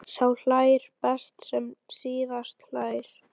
Sá hlær best sem síðast hlær!